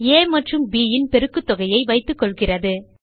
ஆ மற்றும் bன் பெருக்குத்தொகையை வைத்துக்கொள்கிறது